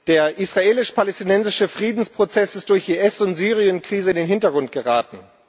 Der israelisch palästinensische Friedensprozess ist durch IS und Syrienkrise in den Hintergrund geraten.